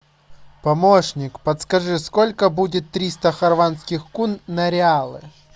помощник подскажи сколько будет триста хорватских кун на реалы